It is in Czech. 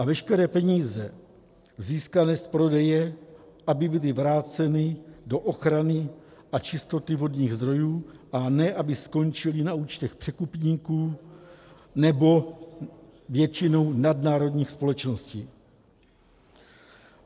A veškeré peníze získané z prodeje, aby byly vráceny do ochrany a čistoty vodních zdrojů, a ne aby skončily na účtech překupníků nebo většinou nadnárodních společností.